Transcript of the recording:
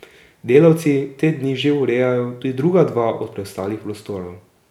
Delavci te dni že urejajo tudi druga dva od preostalih prostorov.